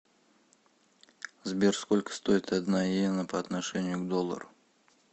сбер сколько стоит одна йена по отношению к доллару